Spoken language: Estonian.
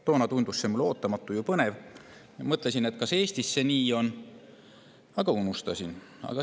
Toona tundus see mulle ootamatu ja põnev ning ma mõtlesin, kas see ka Eestis nii on, aga unustasin.